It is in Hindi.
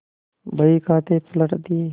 बहीखाते पटक दिये